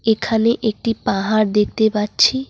এখানে একটি পাহাড় দেখতে পাচ্ছি।